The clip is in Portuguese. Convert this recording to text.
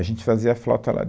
A gente fazia flauta lá.